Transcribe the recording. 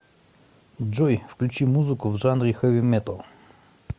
джой включи музыку в жанре хэви металл